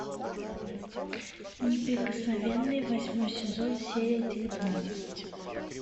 неприкосновенные восьмой сезон серия девятнадцать